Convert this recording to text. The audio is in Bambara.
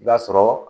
I b'a sɔrɔ